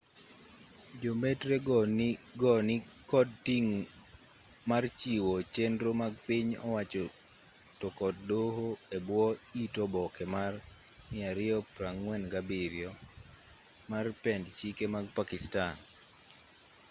jo mbetre go nikod ting' mar chiwo chenro mag piny owacho to kod doho e bwo it oboke mar 247 mar pend chike mag pakistan